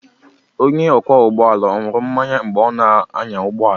Onye ọkwọ ụgbọala ahụ ọ̀ ṅụrụ mmanya mgbe ọ na-anya ụgbọ ala?